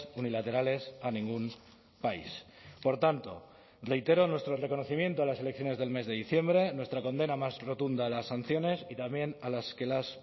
unilaterales a ningún país por tanto reitero nuestro reconocimiento a las elecciones del mes de diciembre nuestra condena más rotunda a las sanciones y también a las que las